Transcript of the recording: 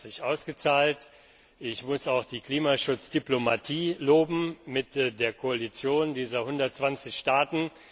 das hat sich ausgezahlt. Ich muss auch die Klimaschutzdiplomatie loben mit der Koalition dieser 120 Staaten.